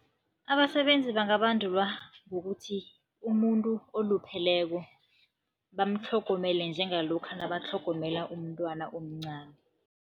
Abasebenzi bangabandululwa ngokuthi, umuntu olupheleko bamtlhogomele njengalokha nabatlhogomela umntwana omncani.